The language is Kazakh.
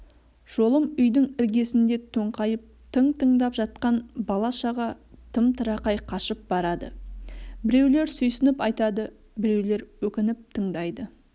жолым үйдің іргесінде тоңқайып тың-тыңдап жатқан бала-шаға тым-тырақай қашып барады біреулер сүйсініп айтады біреулер өкініп тыңдайды